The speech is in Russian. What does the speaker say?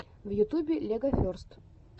в ютубе легоферст